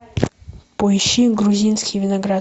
поищи грузинский виноград